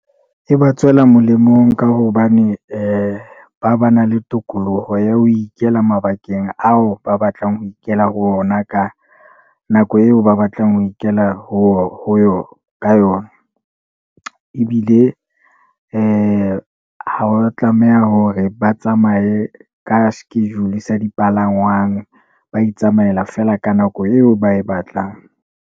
E ba tswela molemo ka hobane , ba ba na le tokoloho ya ho ikela mabakeng ao, ba batlang ho ikela ho ona, ka nako eo ba batlang ho ikela ka yona. Ebile ha wa tlameha hore ba tsamaye ka schedule sa dipalangwang, ba itsamaela feela ka nako eo ba e batlang.